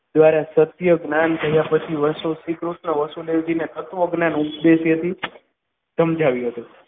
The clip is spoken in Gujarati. દ્વારા સત્ય જ્ઞાન ધાર્યા પછી શ્રીકૃષ્ણ વસુદેવજી ને તત્વજ્ઞાન ઉપદેશ્યથી સમજાવ્યો હતો.